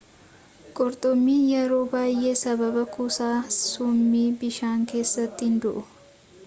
qurxummin yeroo baay'ee sababa kuusaa summii bishaan keessaatiin du'u